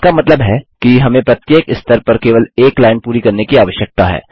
इसका मतलब है कि हमें प्रत्येक स्तर पर केवल एक लाइन पूरी करने की आवश्यकता है